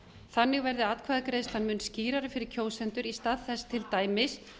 þannig verði atkvæðagreiðslan mun skýrari fyrir kjósendur í stað þess til dæmis